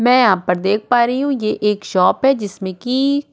मैं यहाँ पर देख पा रही हूँ ये एक शॉप है जिसमें कि --